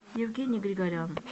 евгений григорян